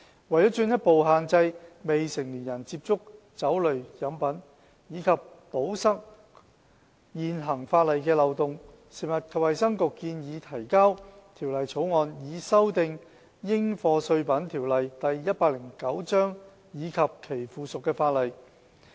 為進一步限制未成年人接觸酒類飲品及堵塞現行法例的漏洞，食物及衞生局建議提交《條例草案》，以修訂《應課稅品條例》及其附屬法例。